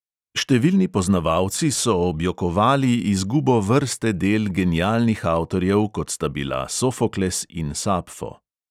Številni poznavalci so objokovali izgubo vrste del genialnih avtorjev, kot sta bila sofokles in sapfo.